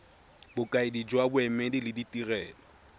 bokaedi jwa boemedi le ditirelo